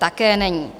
Také není.